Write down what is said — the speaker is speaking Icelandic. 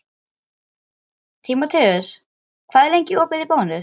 Tímoteus, hvað er lengi opið í Bónus?